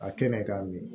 A kɛnɛ k'a min